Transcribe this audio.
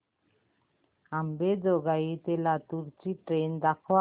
अंबेजोगाई ते लातूर ची ट्रेन दाखवा